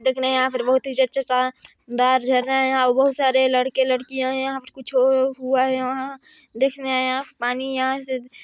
देखने यहाँ पर बहुत ही अच्छे दार जहर रहे हैं अऊ बहुत सारे लड़के लड़किया है कुछ और हुआ है यहाँ देखने आया पानी यहाँ सी--